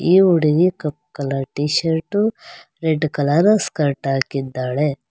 ಈ ಹುಡಗಿ ಕಪ್ಪ colour t-shirt red colour skirt ಹಾಕಿದ್ದಾಳೆ.